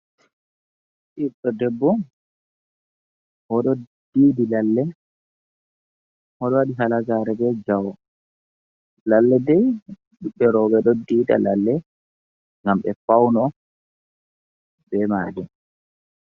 Ɓeɗɗo debbu oɗo ɗiɗi lalle, oɗo waɗi hala gare be jawe. Lalle dai, ɓeɓɓe rooɓe ɗo diida lalle ngam ɓe fawno be majum.